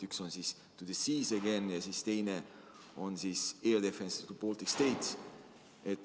Üks on siis "To the Seas Again" ja teine on "Air Defence of the Baltic States".